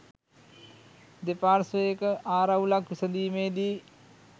දෙපාර්ශවයක ආරවුලක් විසඳීමේදී